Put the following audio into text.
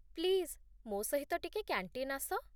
please, ମୋ ସହିତ ଟିକେ କ୍ୟାଣ୍ଟିନ୍ ଆସ